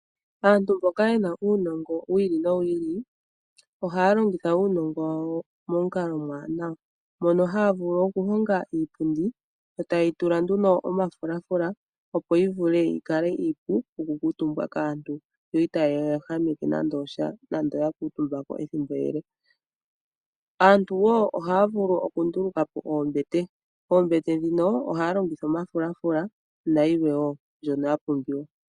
Aantu mboka yena uunongo wi ili nowi ili ohaya longitha uunongo wawo momukalo omwaanawa. Mono haya vulu oku longa iipundi eta yeyi tula nduno omafulaafula opo yi vule yi kale iipu oku kuutumbwa kaantu. Yo itayi ya ehameke nande osha nande ya kaatumbako ethimbo ele. Aantu wo ohaya vulu oku nduluka po oombete, oombete dhino ohaya longitha omafulaafula nayilwe wo mbyono ya pumbiwa.